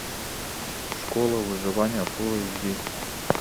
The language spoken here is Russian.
школа выживания фул эйч ди